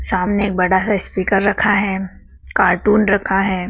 सामने एक बड़ा सा स्पीकर रखा है कार्टून रखा है।